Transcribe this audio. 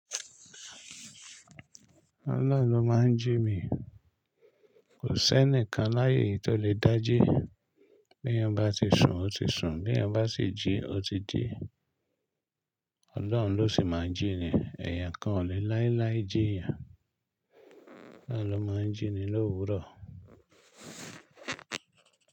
Ọlọ́run ló máa ń jí mi. Kò sí ẹnìkan láyé yìí tó lè dá jí. Bí èèyàn bá ti sun ó ti sun, bí èèyàn bá si jí ó ti jí. Ọlọ́run ló sì máa ń jí ni. Ẹ̀ẹ̀yàn kan ò lè láíláí jí èèyàn. Ọlọ́run ló máa ń jí ni l'òwúrò.